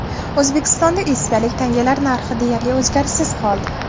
O‘zbekistonda esdalik tangalar narxi deyarli o‘zgarishsiz qoldi.